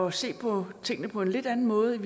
at se på tingene på en lidt anden måde